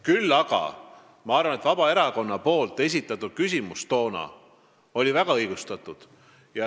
Küll aga arvan, et Vabaerakonna toona esitatud küsimus oli väga õigustatud.